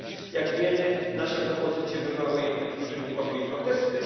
Jak wiemy nasze propozycje wywołały jednak duży niepokój i protesty.